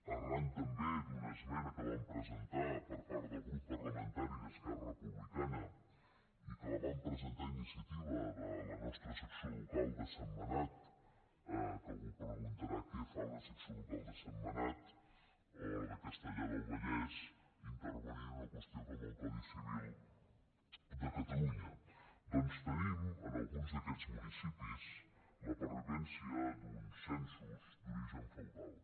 arran també d’una esmena que vam presentar per part del grup parlamentari d’esquerra republicana i que la vam presentar a iniciativa de la nostra secció local de sentmenat que algú preguntarà què fa una secció local de sentmenat o la de castellar del vallès intervenint en una qüestió com el codi civil de catalunya doncs tenim en alguns d’aquests municipis la pervivència d’uns censos d’origen feudal